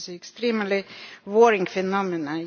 extremely worrying phenomenon.